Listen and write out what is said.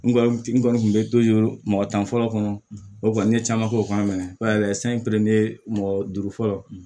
N kɔni n kɔni tun bɛ mɔgɔ tan fɔlɔ kɔnɔ o kɔni n ye caman fɔ o kan mɛ san mɔgɔ duuru fɔlɔ